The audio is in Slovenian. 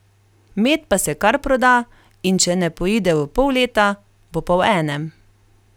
Med pa se kar proda, in če ne poide v pol leta, bo pa v enem.